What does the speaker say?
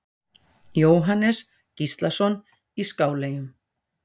Jóhannes Gíslason í Skáleyjum